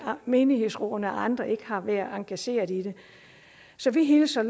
menighedsrådene og andre ikke har været engageret i det så vi hilser